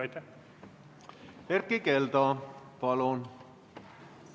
Erkki Keldo, palun!